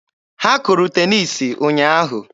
Ha kụrụ teniisi ụnyaahụ.